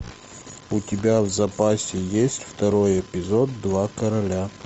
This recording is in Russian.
у тебя в запасе есть второй эпизод два короля